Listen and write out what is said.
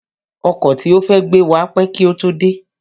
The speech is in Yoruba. Ọkọ̀ tí ó fẹ́ gbé wa pẹ́ kí ó tó dé